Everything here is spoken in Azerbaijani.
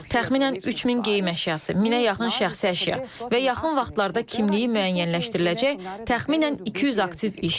Təxminən 3000 geyim əşyası, 1000-ə yaxın şəxsi əşya və yaxın vaxtlarda kimliyi müəyyənləşdiriləcək təxminən 200 aktiv iş.